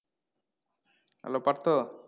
Hello Partha?